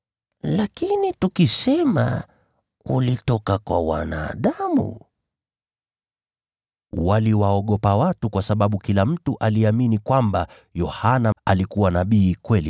Lakini tukisema, ‘Ulitoka kwa wanadamu,’…” (Waliwaogopa watu, kwa sababu kila mtu aliamini kwamba Yohana alikuwa nabii wa kweli.)